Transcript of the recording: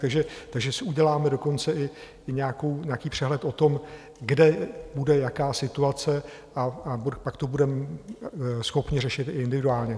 Takže si uděláme dokonce i nějaký přehled o tom, kde bude jaká situace, a pak to budeme schopni řešit i individuálně.